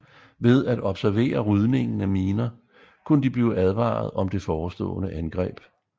Ved at observere rydningen af miner kunne de blive advaret om det forestående angreb